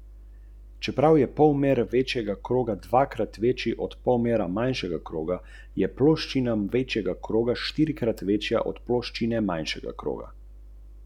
V zamejstvu jih je le še okrog sto tisoč.